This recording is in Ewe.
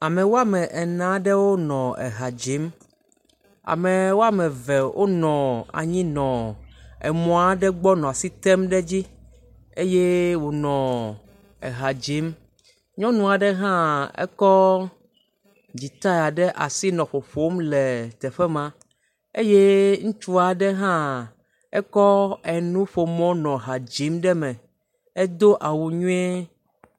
Ame woame ene aɖewo le ha dzim ame ema eve wonɔ anyi nɔ emɔ aɖe gbɔ nɔ asi tem ɖe edzi le wonɔ eha dzim, nyɔnu aɖe hã kɔ dzita ɖe asi nɔ ƒoƒm le teƒe ma eye ŋutsu aɖe hã ekɔ nuƒomɔ nɔ eha dzim ɖe eme edo awu nyuie. Amewo le ;lãmesẽ fefe kɔ dam wodo afɔkpa, wodo asiwui eye wotsɔ nu bla tae, amewo le ka godo hele wo kpɔm ame ɖeka da kɔ nɔvia tsɔ asi ɖe yame.